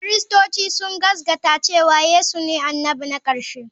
Kiristoci sun gaskata cewa Yesu ne annabi na ƙarshe.